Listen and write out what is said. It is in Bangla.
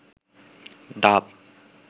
ডাব